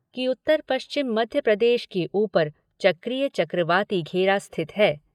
कि उत्तर पश्चिम मध्यप्रदेश के ऊपर चक्रीय चक्रवाती घेरा स्थित है।